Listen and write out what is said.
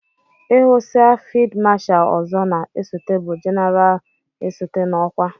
Ihusiá fid Masha ọzọ na esote bụ jeneralna esote n'okwa.